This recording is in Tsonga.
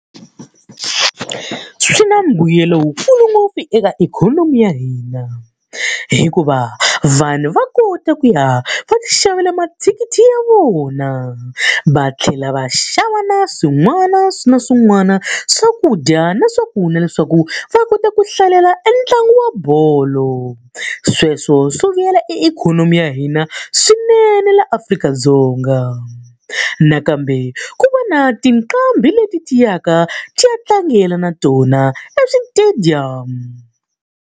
Swi na mbuyelo wukulu ngopfu eka ikhonomi ya hina hikuva vanhu va kota ku ya va tixavela mathikithi ya vona, va tlhela va xava na swin'wana na swin'wana swakudya na swa ku nwa leswaku va kota ku hlalela e ntlangu wa bolo. Sweswo swi vuyela e ikhonomi ya hina swinene la Afrika-Dzonga. Nakambe ku va na tinqambi leti ti yaka ti ya tlangela na tona eswitediyamu.